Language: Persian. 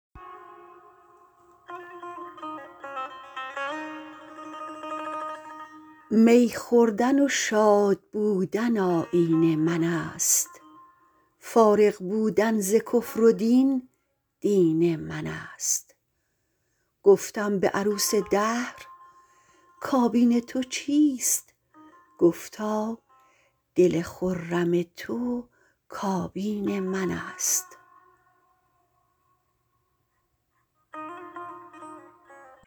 می خوردن و شادبودن آیین من است فارغ بودن ز کفر و دین دین من است گفتم به عروس دهر کابین تو چیست گفتا دل خرم تو کابین من است